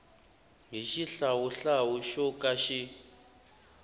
hi xihlawuhlawu xo ka xi